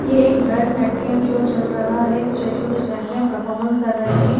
ये एक भरतनाट्यम शो चल रहा है स्टेज पे कुछ लड़कियां परफॉर्मेंस कर रही है।